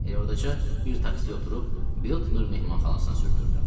Elə ordaca bir taksiyə oturub, Biltmer mehmanxanasına sürdürdüm.